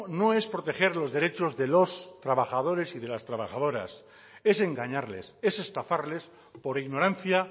no es proteger los derechos de los trabajadores y de las trabajadoras es engañarles es estafarles por ignorancia